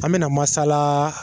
An bɛna masala.